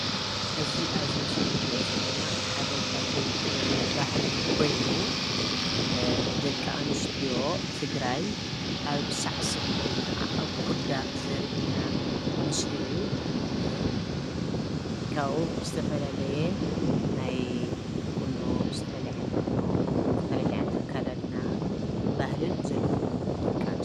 እዚ ኣብዚ ምስሊ እንሪኦ ዘለና ሓደ ካብተን ጥበብን ባህልን ኮይኑ ደቂ ኣንስትዮ ትግራይ ኣብ ሳዕስዒት ወይ ክዓ ኣብ ኩዳ ዘርእየና ምስሊ እዩ። ካብኡ ብዝተፈላለየ ናይ ቁኖ ዝተፈላለየ ዓይነት ቁኖ፣ ዝተፈላለየ ዓይነት ኣከዳድና ባህልን ዘለወን ደቂ ኣንስትዮ...